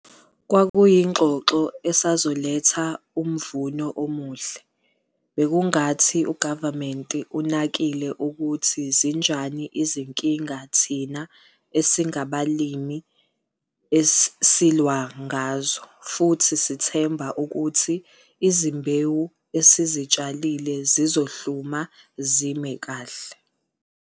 Kwakuyingxoxo esazoletha umvuno omuhle - bekungathi uGavumente unakile ukuthi zinjani izinkinga thina esingabalimi silwa ngazo futhi sithemba ukuthi izimbewu esizitshalile zizohluma zimile kahle.